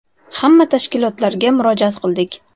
“Hamma tashkilotlarga murojaat qildik.